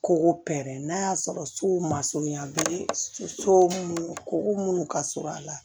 Kogo pɛrɛn n'a y'a sɔrɔ so ma surunya be so mun koko munnu ka surun a la